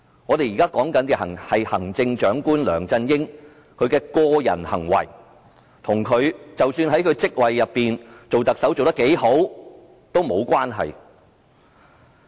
我們現在討論的是行政長官梁振英的個人行為，即使他在特首的職位上做得多好也沒有關係。